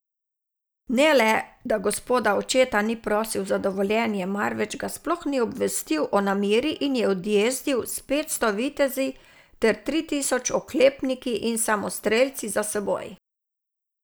Ne le, da gospoda očeta ni prosil za dovoljenje, marveč ga sploh ni obvestil o nameri in je odjezdil s petsto vitezi ter tri tisoč oklepniki in samostrelci za seboj.